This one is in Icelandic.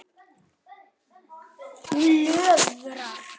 Hún löðrar.